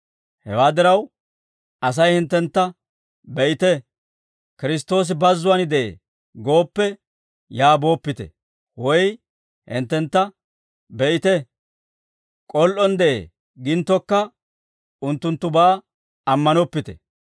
«Hewaa diraw, Asay hinttentta, ‹Be'ite, Kiristtoosi bazzuwaan de'ee› gooppe, yaa booppite; woy hinttentta, ‹Be'ite, k'ol"on de'ee› ginttokka, unttunttubaa ammanoppite.